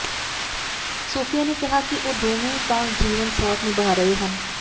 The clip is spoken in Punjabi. ਸੋਫੀਆ ਨੇ ਕਿਹਾ ਕਿ ਉਹ ਦੋਵੇਂ ਤਾਂ ਜੀਵਨ ਸਾਥ ਨਿਭਾ ਰਹੇ ਹਨ